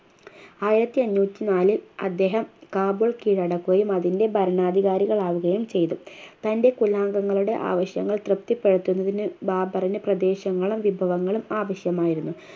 ആയിരത്തിഎണ്ണൂറ്റിനാല് അദ്ദേഹം കാബൂൾ കീഴടക്കുകയും അതിൻ്റെ ഭരണാധികാരികൾ ആവുകയും ചെയ്തു തൻ്റെ കുലാങ്കങ്ങളുടെ ആവശ്യങ്ങൾ തൃപ്തിപ്പെടുത്തുന്നതിന് ബാബറിനു പ്രദേശങ്ങളും വിഭവങ്ങളും ആവശ്യമായിരുന്നു